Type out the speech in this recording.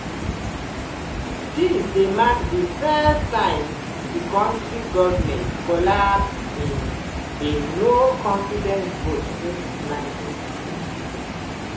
dis dey mark di first time di kontri govment collapse in a no-confidence vote since 1962.